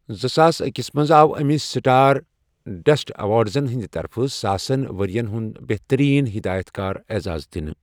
زٕ ساس أکِس منٛز آو أمِس سٹار ڈسٹ اٮ۪وارڑزن ہِنٛدِ طرفہٕ 'ساسن ؤرۍین ہنٛد بہتٔریٖن ہٮ۪دایت کار' اعزاز دِنہٕ۔